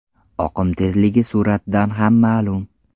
Oqim tezligi suratdan ham ma’lum.